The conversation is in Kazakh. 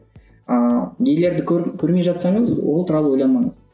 ыыы нелерді көрмей жатсаңыз ол туралы ойламаңыз